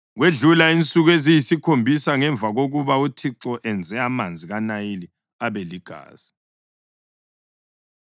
Kwedlula insuku eziyisikhombisa ngemva kokuba uThixo enze amanzi kaNayili aba ligazi.